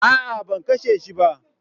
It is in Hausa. A'a, ban kashe shi ba.